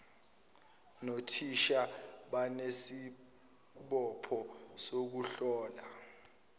nothisha banesibopho sokuhlola